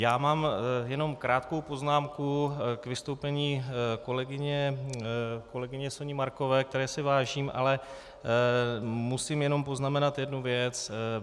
Já mám jenom krátkou poznámku k vystoupení kolegyně Soni Markové, které si vážím, ale musím jenom poznamenat jednu věc.